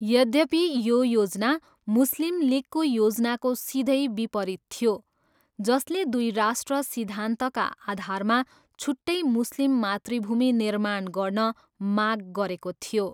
यद्यपि, यो योजना मुस्लिम लिगको योजनाको सिधै विपरीत थियो, जसले दुई राष्ट्र सिद्धान्तका आधारमा छुट्टै मुस्लिम मातृभूमि निर्माण गर्न माग गरेको थियो।